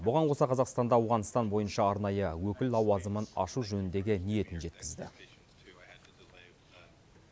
бұған қоса қазақстанда ауғанстан бойынша арнайы өкіл лауазымын ашу жөніндегі ниетін жеткізді